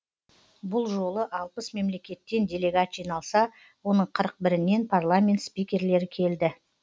бұл жолы алпыс мемлекеттен делегат жиналса оның қырық бірінен парламент спикерлері келді